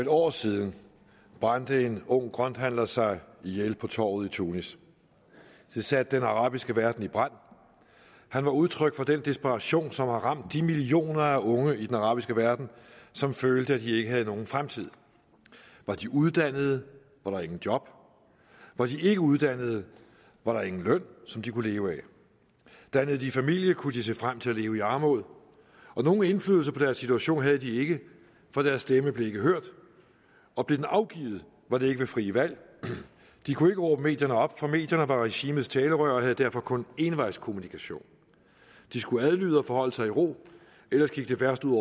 et år siden brændte en ung grønthandler sig ihjel på torvet i tunis og det satte den arabiske verden i brand han var udtryk for den desperation som havde ramt de millioner af unge i den arabiske verden som følte at de ikke havde nogen fremtid var de uddannede var der ingen job var de ikke uddannede var der ingen løn som de kunne leve af dannede de familie kunne de se frem til at leve i armod nogen indflydelse på deres situation havde de ikke for deres stemme blev ikke hørt og blev den afgivet var det ikke ved frie valg de kunne ikke råbe medierne op for medierne var regimets talerør og havde derfor kun envejskommunikation de skulle adlyde og forholde sig i ro ellers gik det værst ud